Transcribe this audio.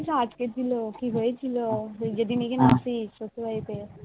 কিন্তু আজকের দিনে কি হৈছিল যেদিন নিজের মাসি শত্রু হৈছে